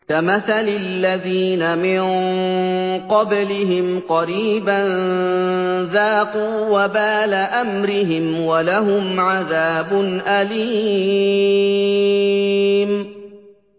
كَمَثَلِ الَّذِينَ مِن قَبْلِهِمْ قَرِيبًا ۖ ذَاقُوا وَبَالَ أَمْرِهِمْ وَلَهُمْ عَذَابٌ أَلِيمٌ